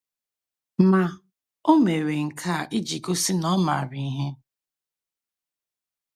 Ma, o mere nke a iji gosi na ọ maara ihe.